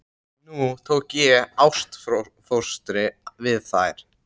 Nú tók ég ástfóstri við þær.